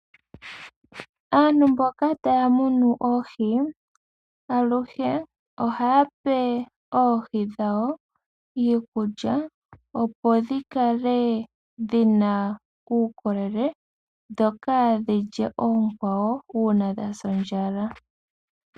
Aantu mboka taya munu oohi aluhe ohaya pe oohi dhawo iikulya opo dhi kale dhina uukolele dho kaadhi lye oonkwawo uuna dha sa ondjala.